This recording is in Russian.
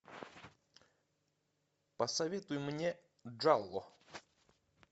посоветуй мне джалло